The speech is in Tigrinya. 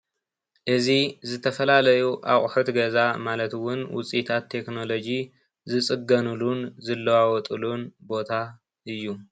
እዚ ዝተፈላለዩ ኣቑሑት ገዛ ማለት እውን ውፅኢታት ቴክኖሎጂ ዝፅገኑሉን ዝለዋወጥሉን ቦታ እዩ፡፡